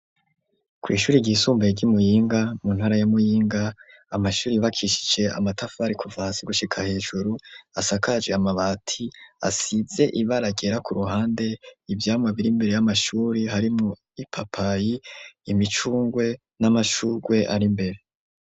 kw' ishuri ry'isumbaye ry'iMuyinga mu ntara ya Muyinga, amashuri bakishije amatafari kuva hasi gushika hejuru, asakaje amabati asize ibara ryera ku ruhande, ivyamwa bir' imbere y'amashuri harimwo ipapayi, imicungwe n'amashurwe ar'imbere.